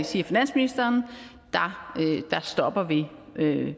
siger finansministeren at der stopper vi